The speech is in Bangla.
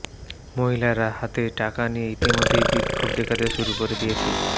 মহিলারা হাতে টাকা নিয়ে ইতিমধ্যেই বিক্ষোভ দেখাতে শুরু করে দিয়েছে